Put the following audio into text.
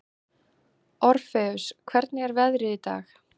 Orfeus, hvernig er veðrið í dag?